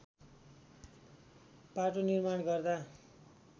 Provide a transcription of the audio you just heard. बाटो निर्माण गर्दा